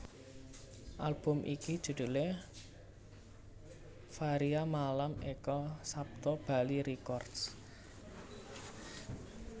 Album iki judhulé Varia Malam Eka Sapta Bali Records